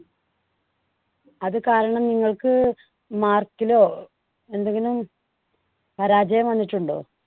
അതുകാരണം നിങ്ങൾക്ക് mark ലോ എന്തെങ്കിലും പരാജയം വന്നിട്ടുണ്ടോ?